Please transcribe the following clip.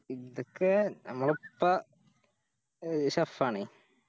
ഇതൊക്കെ ഞമ്മളിപ്പോ Sheff ആണേ